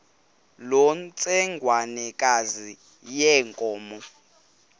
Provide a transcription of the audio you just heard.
loo ntsengwanekazi yenkomo